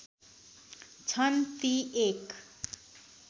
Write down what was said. छन् ती एक